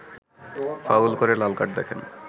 foul করে লাল card দেখেন